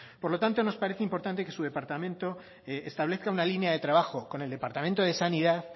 por lo tanto nos parece importante que su departamento establezca una línea de trabajo con el departamento de sanidad